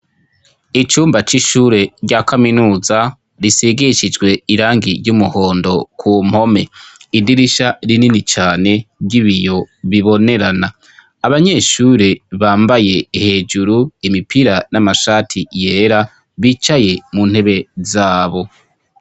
Icumba c'ishure rya kaminuza risigishijwe irangi ry'umuhondo ku mpome, idirisha rinini cane ry'ibiyo bibonerana, abanyeshure bambaye hejuru imipira n'amashati yera bicaye mu ntebe zabo.